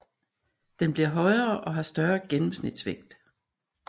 Den bliver højere og har større gennemsnitsvægt